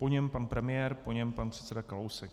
Po něm pan premiér, po něm pan předseda Kalousek.